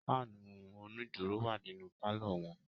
Fáànù onídùró wà nínú pálọ̀ wọn.